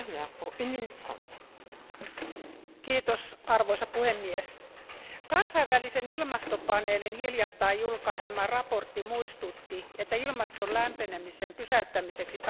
Arvoisa puhemies, kansainvälisen ilmastopaneelin hiljattain julkaisema raportti muistutti, että ilmaston lämpenemisen pysäyttämiseksi tarvitaan ripeitä ja kunnianhimoisia toimenpiteitä.